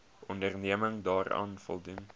onderneming daaraan voldoen